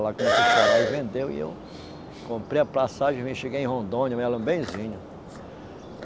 Ela começou a chorar e vendeu, e eu comprei a passagem e vim cheguei em Rondônia, me lembro benzinho.